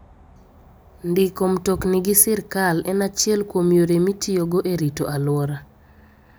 Ndiko mtokni gi sirkal en achiel kuom yore mitiyogo e rito alwora.